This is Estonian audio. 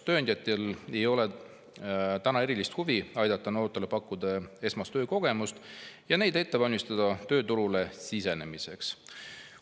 Tööandjatel ei ole täna erilist huvi pakkuda noortele esmast töökogemust ja valmistada neid ette tööturule sisenemiseks.